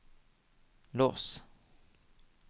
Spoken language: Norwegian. lås